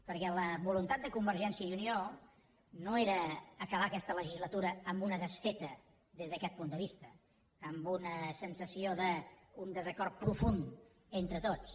perquè la voluntat de convergència i unió no era acabar aquesta legislatura amb una desfeta des d’aquest punt de vista amb una sensació d’un desacord profund entre tots